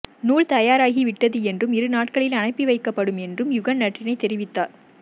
நூல் தயாராகி வந்துவிட்டது என்றும் இருநாட்களில் அனுப்பிவைக்கப்படும் என்றும் யுகன் நற்றிணை தெரிவித்தார்